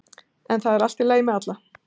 En það er í lagi með alla